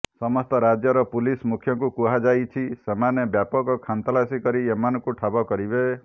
ସମସ୍ତ ରାଜ୍ୟର ପୁଲିସ୍ ମୁଖ୍ୟଙ୍କୁ କୁହାଯାଇଛି ସେମାନେ ବ୍ୟାପକ ଖାନ୍ତଲାସି କରି ଏମାନଙ୍କୁ ଠାବ କରିବେ